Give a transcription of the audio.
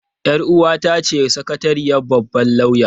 Yar uwata ce sakatariyar babban lauya.